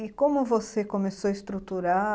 E como você começou a estruturar?